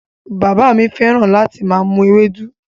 Bàbá mi fẹ́ràn láti máa mu Ewédú